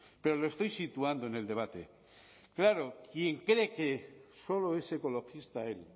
pero lo estoy situando en el debate claro quien cree que solo es ecologista él